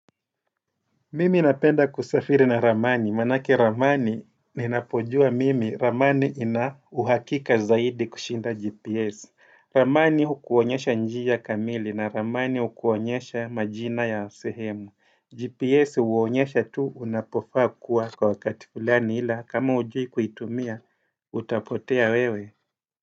Mimi napenda kusafiri na ramani, manake ramani ninapojua mimi, ramani ina uhakika zaidi kushinda GPS. Ramani ukuonyesha njia kamili na ramani ukuonyesha majina ya sehemu. GPS huonyesha tu unapofaa kuwa kwa wakati fulani ila kama hujui kuitumia, utapotea wewe.